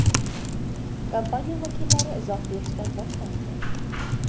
Kompaniya vakillari izoh berishdan bosh tortgan.